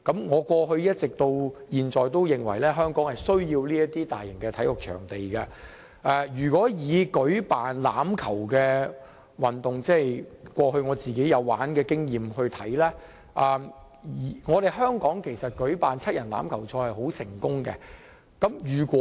我過去至今也認為香港需要這些大型體育場地，以舉辦欖球運動為例，因為我過去有參與這項運動，香港舉辦七人欖球賽是很成功的。